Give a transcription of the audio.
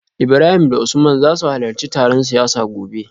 Ibrahim da Usman za su halarci taron siyasa gobe